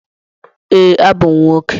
Ee, abụ m nwoke.